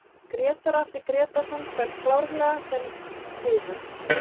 Grétar Atli Grétarsson fær klárlega þann heiður